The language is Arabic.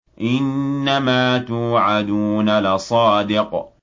إِنَّمَا تُوعَدُونَ لَصَادِقٌ